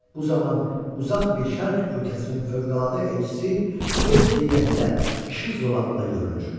Bu zaman uzaq bir şərq ölkəsinin fövqəladə elçisi öz heyəti ilə işıq zolağında görünür.